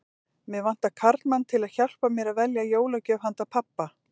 Mig vantar karlmann til að hjálpa mér að velja jólagjöf handa pabba